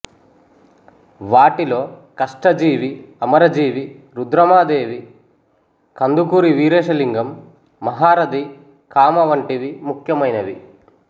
వాటిలో కష్టజీవి అమరజీవి రుద్రమదేవి కందుకూరి వీరేశలింగం మహారథి కామ వంటివి ముఖ్యమైనవి